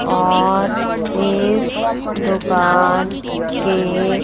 और इस दुकान के--